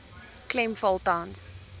klem val tans